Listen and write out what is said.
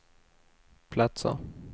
platser